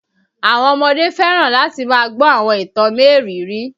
Àwọn ọmọdé fẹ́ràn láti máa gbọ àwọn ìtàn mériìírí